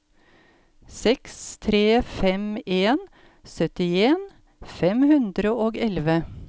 seks tre fem en syttien fem hundre og elleve